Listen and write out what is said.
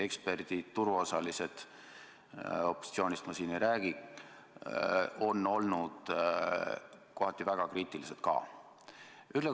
Eksperdid, turuosalised – opositsioonist ma siin ei räägi – on olnud kohati väga kriitilised ka.